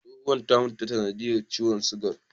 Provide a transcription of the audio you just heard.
Tsohuwan ta mutu ta sanadiyar ciwon sugar.